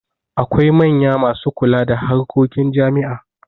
Akwai manya masu kula da harkokin jami'a.